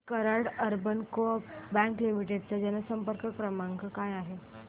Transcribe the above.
दि Karad urban co-op bank limited चा जनसंपर्क क्रमांक काय आहे